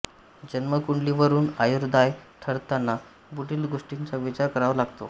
जन्मकुंडलीवरून आयुर्दाय ठरविताना पुढील गोष्टींचा विचार करावा लागतो